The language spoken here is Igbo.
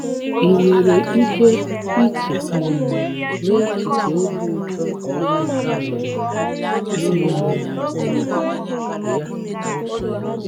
Ị nwere ike iche n'echiche obi ụtọ Ginika nwere n'ịmụ ụmụ ya?